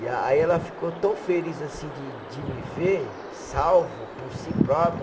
E aí ela ficou tão feliz assim de de me ver salvo por si próprio.